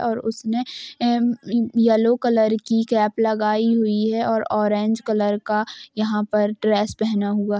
और उसने um yellow colour की कैप लगाई हुई है और ऑरेंज कलर का यहाँ पर ड्रेस पहना हुआ --